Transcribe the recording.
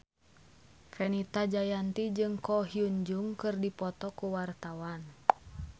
Fenita Jayanti jeung Ko Hyun Jung keur dipoto ku wartawan